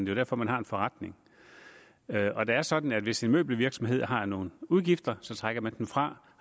jo derfor man har en forretning og det er sådan at hvis en møbelvirksomhed har nogle udgifter så trækker man dem fra